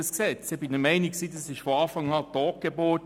Ich war von Anfang an der Meinung, es sei eine Totgeburt.